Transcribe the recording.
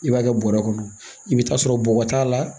I b'a kɛ bɔrɛ kɔnɔ i bɛ taa sɔrɔ bɔgɔ t'a la